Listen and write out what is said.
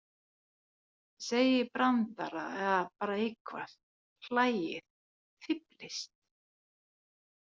Segið brandara eða bara eitthvað, hlæið, fíflist.